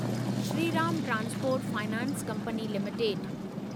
Shriram transport finance company limited